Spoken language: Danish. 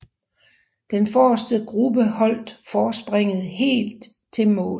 Den forreste gruppe holdt forspringet helt til mål